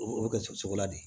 O bɛ kɛ cogo la de